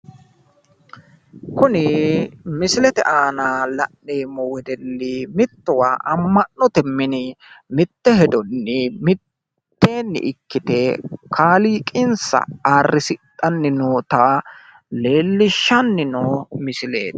Kuni misilete aana la'neemmo wedelli mittowa woyte ama'note mine mitte hedonni mitteenni ikkite kaliiqansa ayirrisidhanni noota leelishano misileti.